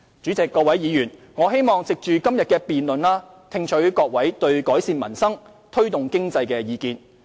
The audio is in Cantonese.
主席、各位議員，我希望藉着今天的辯論聽取各位對改善民生，推動經濟的意見。